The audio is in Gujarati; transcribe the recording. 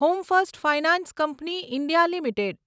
home First Finance Company India limited